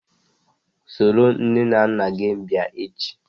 Soro nne na nna gi bia echi!